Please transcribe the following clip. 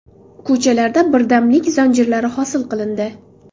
Ko‘chalarda birdamlik zanjirlari hosil qilindi.